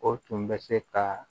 O tun bɛ se ka